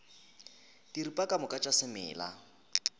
diripa ka moka tša semela